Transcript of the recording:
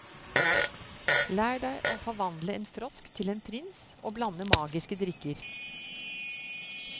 Lær deg å forvandle en frosk til en prins og blande magiske drikker.